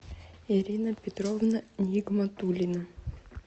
ирина петровна нигматуллина